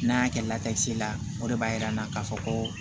N'a y'a kɛ lakisri la o de b'a yira n na k'a fɔ ko